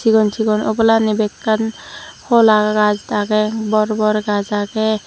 sigon sigon obolanni bekkan holagaj agey bor bor gaj agey.